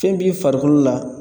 Fɛn b'i farikolo la